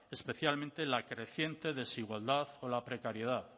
especialmente la creciente desigualdad o la precariedad